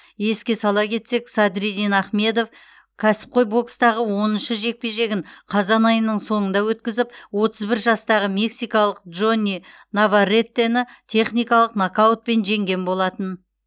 еске сала кетсек садриддин ахмедов кәсіпқой бокстағы оныншы жекпе жегін қазан айының соңында өткізіп отыз бір жастағы мексикалық джонни наварретені техникалық нокаутпен жеңген болатын